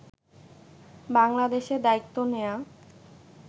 বাংলাদেশে দায়িত্ব নেয়া